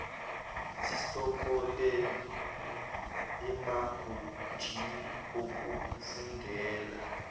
sesikoleni emagunjini okufundela